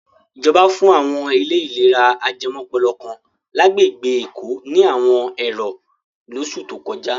Ìjọba fún àwọn ilé ìlera ajẹmọ́pọlọ kan lágbègbè Èkó ní àwọn ẹ̀rọ lóṣù tó kọjá.